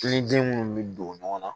Kilo den munnu bɛ don ɲɔgɔn na